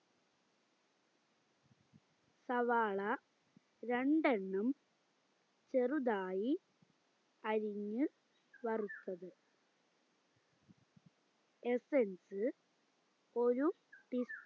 സവാള രണ്ടണ്ണം ചെറുതായി അരിഞ്ഞു വറുത്തത് essence ഒര് ടീസ്